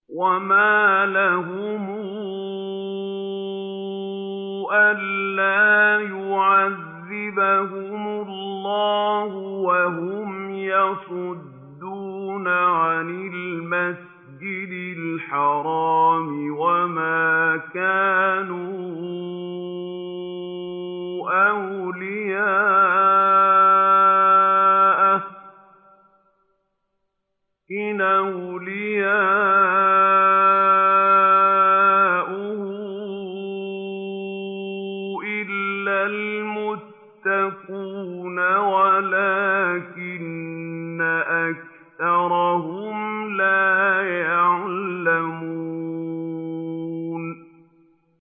وَمَا لَهُمْ أَلَّا يُعَذِّبَهُمُ اللَّهُ وَهُمْ يَصُدُّونَ عَنِ الْمَسْجِدِ الْحَرَامِ وَمَا كَانُوا أَوْلِيَاءَهُ ۚ إِنْ أَوْلِيَاؤُهُ إِلَّا الْمُتَّقُونَ وَلَٰكِنَّ أَكْثَرَهُمْ لَا يَعْلَمُونَ